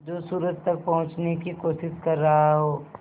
जो सूरज तक पहुँचने की कोशिश कर रहा हो